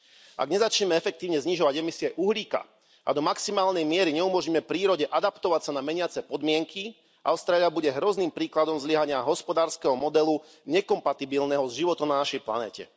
Ak nezačneme efektívne znižovať emisie uhlíka a do maximálne miery neumožníme prírode adaptovať sa na meniace podmienky, Austrália bude hrozným príkladom zlyhania hospodárskeho modelu nekompatibilného so životom na našej planéte.